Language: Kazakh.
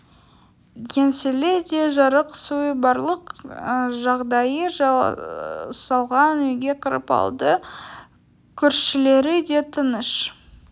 еңселі де жарық суы барлық жағдайы жасалған үйге кіріп алды көршілері де тыныш